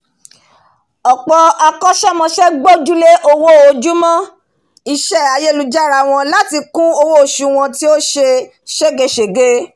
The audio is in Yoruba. ọ̀pọ̀ akọ́sẹ́mọsẹ́ gbójúlé owó ojojúmọ́ isẹ́ ayélujára wọn láti kún owó osù wọn tí ó se ségesège